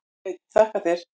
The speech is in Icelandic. Sveinn: Þakka þér.